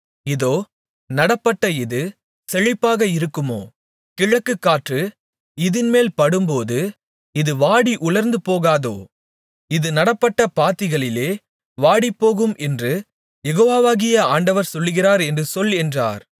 இதோ நடப்பட்ட இது செழிப்பாக இருக்குமோ கிழக்குகாற்று இதின்மேல் படும்போது இது வாடி உலர்ந்து போகாதோ இது நடப்பட்ட பாத்திகளிலே வாடிப்போகும் என்று யெகோவாகிய ஆண்டவர் சொல்லுகிறார் என்று சொல் என்றார்